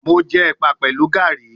Mo jẹ ẹpa pẹlu Garri